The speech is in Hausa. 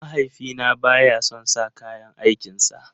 Mahaifina baya son sa kayan aikin sa.